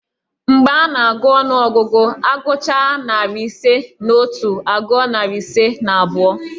Mgbe a na-agụ ọnụọgụ, agụchaa narị isi na otu agụọ narị isi na abụọ